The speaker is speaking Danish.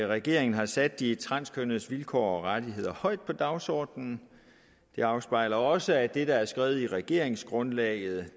regeringen har sat de transkønnedes vilkår og rettigheder højt på dagsordenen det afspejler også at det der er skrevet i regeringsgrundlaget